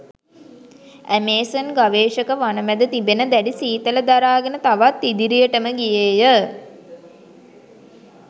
Amazon ගවේෂක වනමැද තිබෙන දැඩි සීතල දරාගෙන තවත් ඉදිරියටම ගියේය.